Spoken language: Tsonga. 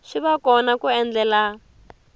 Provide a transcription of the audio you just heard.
swi va kona ku endlela